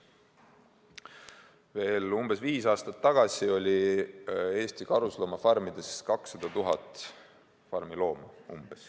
Veel umbes viis aastat tagasi oli Eesti karusloomafarmides 200 000 looma.